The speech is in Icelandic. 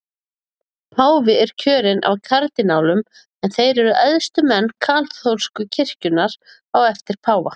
Páfi er kjörinn af kardínálum en þeir eru æðstu menn kaþólsku kirkjunnar á eftir páfa.